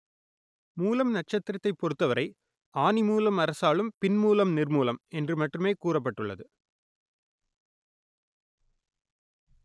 மூலம் நட்சத்திரத்தைப் பொறுத்தவரை ஆனி மூலம் அரசாளும் பின் மூலம் நிர்மூலம் என்று மட்டுமே கூறப்பட்டுள்ளது